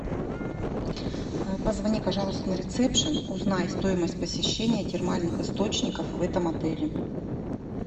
позвони пожалуйста на рецепшен узнай стоимость посещения термальных источников в этом отеле